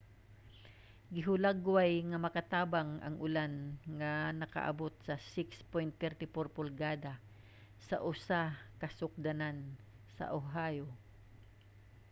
gihulagway nga makatabang ang ulan nga nakaabot sa 6.34 pulgada sa usa ka sukdanan sa oahu